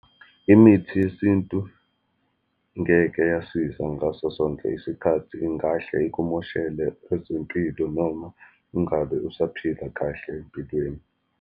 Imithi yesintu ngeke yasiza ngaso sonke isikhathi, ingahle ikumoshele ezempilo, noma ngale usaphila kahle empilweni.